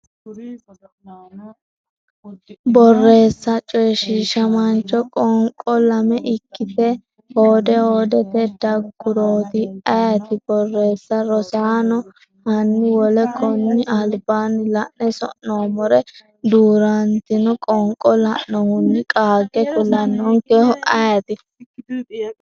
Borreessa coyshiishamaancho qoonqo, lame ikkite hoode hoodete daggurooti? ayeeti? Borreessa Rosaano, hanni wole konni albaanni la’ne sa’noommore duu’rantino qoonqo lainohunni qaage kulannonkehu ayeeti?